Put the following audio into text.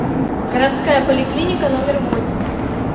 городская поликлиника номер восемь